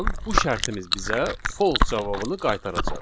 bu şərtimiz bizə false cavabını qaytaracaq.